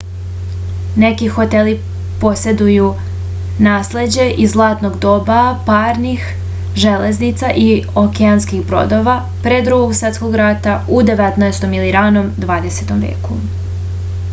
neki hoteli poseduju nasleđe iz zlatnog doba parnih železnica i okeanskih brodova pre drugog svetskog rata u 19. ili ranom 20. veku